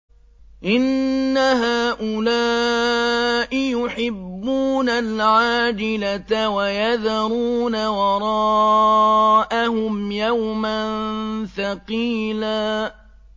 إِنَّ هَٰؤُلَاءِ يُحِبُّونَ الْعَاجِلَةَ وَيَذَرُونَ وَرَاءَهُمْ يَوْمًا ثَقِيلًا